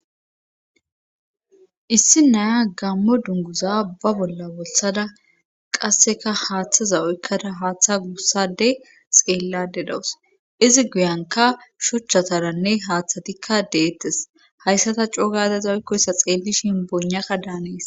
issi naya gammo dunguza ba bolla bolsada qasseka haaththaza oykkada haaththa guussade xeellade dawus izi guyanka shuchchataranne haaththatikka deettes hayssata cougadeza oykkoyssa xeellishin bonaka daanees